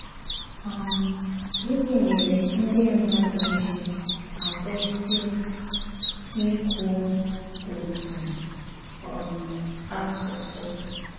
um Gịnị mèré ndí mmádù jì àkwụ́sị íkwú òtù um àsụsụ?